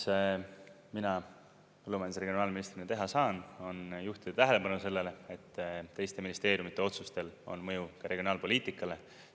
Mis mina põllumajandus- ja regionaalministrina teha saan, on juhtida tähelepanu sellele, et teiste ministeeriumide otsustel on mõju ka regionaalpoliitikale.